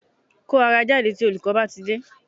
Kó ara jáde tí olùkọ́ bá tidé